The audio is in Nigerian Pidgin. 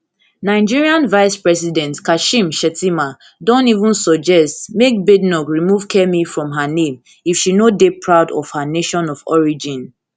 nigerian vicepresident kashim shettima don even suggest make badenoch remove kemi from her name if she no dey proud of her nation of origin